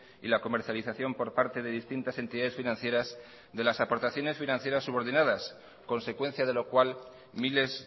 y la comercialización por parte de distintas entidades financieras de las aportaciones financieras subordinadas consecuencia de lo cual miles